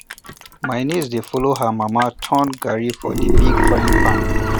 my niece dey follw her mama turn garri for di big frying pan